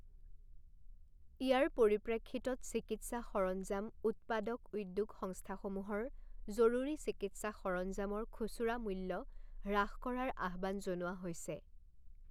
ইয়াৰ পৰিপ্ৰেক্ষিতত চিকিৎসা সৰঞ্জাম উৎপাদক উদ্যোগ স্ংস্থাসমূহৰ জৰুৰী চিকিৎসা সৰঞ্জামৰ খুচুৰা মূল্য হ্ৰাস কৰাৰ আহ্বান জনোৱা হৈছে।